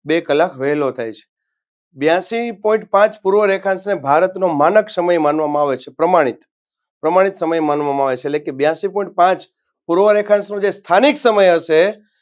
બે કલાક વેલો થાય છે બ્યાસી point પાંચ પૂર્વ રેખાંશને ભારતનો માનક સમય માનવામાં આવે છે પ્રામાણિક પ્રામાણિક સામે માનવામાં આવે છે લેખે બ્યાસી point પાંચ પૂર્વ રેખાંશ નો જે સથીંક સમય હશે